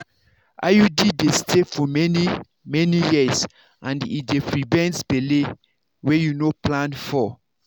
iud dey stay for many-many years and and e dey prevent belle wey you no plan for.